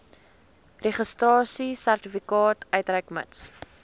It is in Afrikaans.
registrasiesertifikaat uitreik mits